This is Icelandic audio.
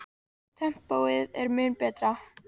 Tempóið er mun betra.